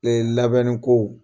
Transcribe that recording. labɛnniko